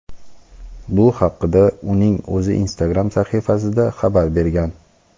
Bu haqda uning o‘zi Instagram sahifasida xabar bergan.